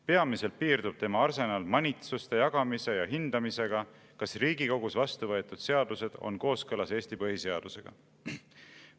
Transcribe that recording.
Peamiselt piirdub tema arsenal manitsuste jagamise ja hindamisega, kas riigikogus vastu võtud seadused on kooskõlas Eesti põhiseadusega.